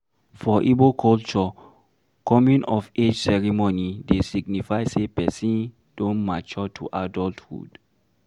For Igbo culture, coming of age ceremony dey signify sey person don mature to adulthood